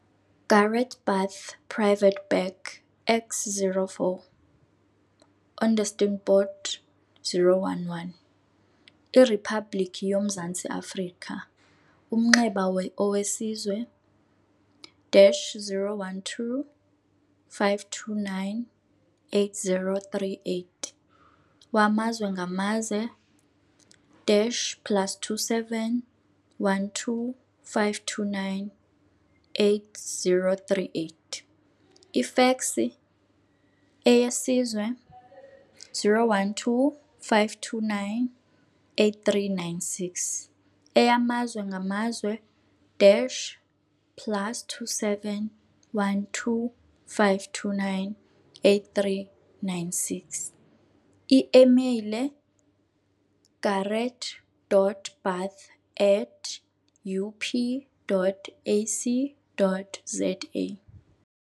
Gareth Bath Private Bag X04, Onderstepoort, 0110 IRiphabhliki yoMzantsi-Afrika Umnxeba - owesizwe dash 012 529 8038 wamazwe ngamazwe dash plus 27 12 529 8038 Ifeksi - eyesizwe - 012 529 8396 Eyamazwe ngamazwe dash plus 27 12 529 8396 i-imeyile - gareth.bath at up.ac.za